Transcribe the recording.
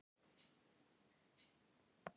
Hann býr á Álftanesi.